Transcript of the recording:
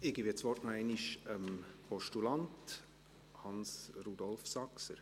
Ich gebe das Wort noch einmal dem Postulanten Hans-Rudolf Saxer.